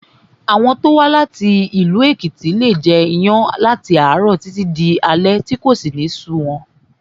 Àwọn tó wá láti ìlú Èkìtì leè jẹ iyán láti àárọ̀ títí di alé tí kò sì ní sú wọn